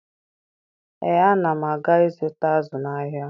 Ee, ana m aga ịzụta azụ n'ahịa